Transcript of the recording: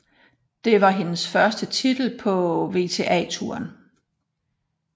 Det var hendes første titel på WTA Touren